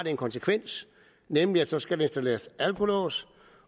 en konsekvens nemlig at der så skal installeres alkolås